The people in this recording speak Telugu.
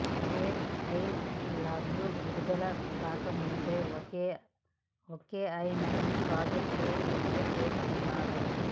తేజ్ ఐ లవ్యూ విడుదల కాకముందే ఓకే అయిన ఈ ప్రాజెక్ట్ని ఓకే చేసుకున్నారు